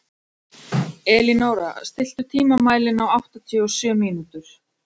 Elínóra, stilltu tímamælinn á áttatíu og sjö mínútur.